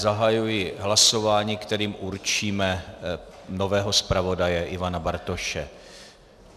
Zahajuji hlasování, kterým určíme nového zpravodaje Ivana Bartoše.